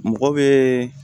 Mɔgɔ bɛ